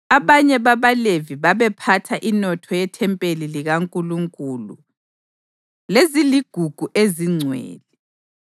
Abanye babaLevi babephatha inotho yethempeli likaNkulunkulu leziligugu ezingcwele.